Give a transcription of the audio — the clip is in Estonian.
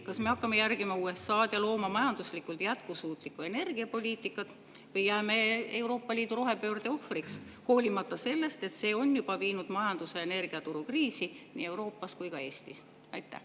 Kas me hakkame järgima USA‑d ja looma majanduslikult jätkusuutlikku energiapoliitikat või jääme Euroopa Liidu rohepöörde ohvriks, hoolimata sellest, et see on juba viinud majanduse ja energiaturu kriisi nii Euroopas kui ka Eestis?